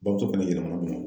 Bamuso fana yɛlɛma Bamakɔ